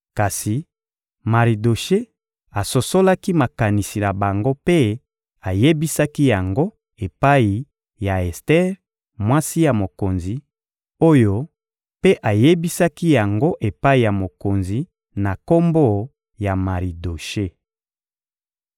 Kasi Maridoshe asosolaki makanisi na bango mpe ayebisaki yango epai ya Ester, mwasi ya mokonzi, oyo mpe ayebisaki yango epai ya mokonzi na kombo ya Maridoshe.